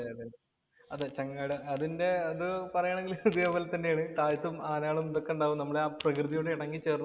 അതെ ചങ്ങാടം അതിന്‍റെ ഇത് പറയുകയാണെങ്കില്‍ ഇതേ പോലെ തന്നെയാണ്. ഒക്കെയുണ്ടാവും. നമ്മളെ ആ പ്രകൃതിയോടു ഇണങ്ങി ചേര്‍ന്ന്